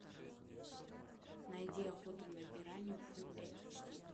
найди охота на пиранью фулл эйч ди